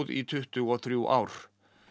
í tuttugu og þrjú ár